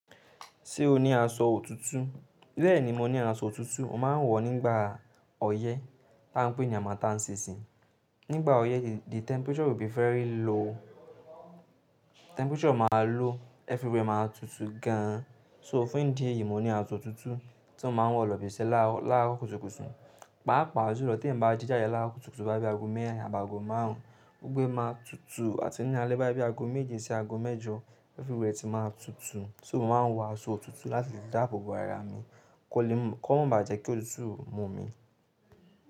Ṣé o ní aṣọ òtútù? Bẹ́ẹ̀ni, mo ní aṣọ òtútù, mo máa ń wọ̀ nígbà ọyẹ́ tá ń pè ní harmattan season. Nígbà ọyẹ́ yii, the temperature will be very low. Temperature máa low, everywhere máa tutù gan an. So fún ìdí èyí, mo ní aṣọ òtútù tí mo máa ń wọ̀ lọ ibi iṣẹ́ láárọ̀ kùtùkùtù. Pàápàá julọ, ti eeyan ba ji jáde láárọ̀ kùtùkùtù boya bií aago meerin àbi aago máarùn, gbogbo e máa tutù àti ní álé boya bíi aago méje sí aago mẹ́jọ everywhere ti máa tutù. So mo máa ń wọ aṣọ òtútù láti lè dáàbò bo ara mi kó lè m-- kó má bà jẹ́ kí òtútù mú mi.